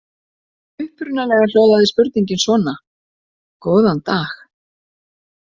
Upprunalega hljóðaði spurningin svona: Góðan dag.